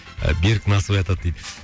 берік насыбай атады дейді